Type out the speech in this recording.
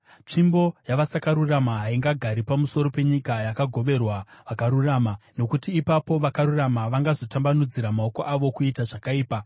Tsvimbo yavasakarurama haingagari pamusoro penyika yakagoverwa vakarurama, nokuti ipapo vakarurama vangazotambanudzira maoko avo kuita zvakaipa.